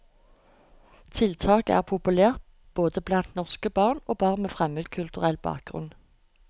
Tiltaket er populært både blant norske barn og barn med fremmedkulturell bakgrunn.